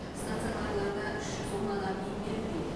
станционарларда үш жүз он адам емделуде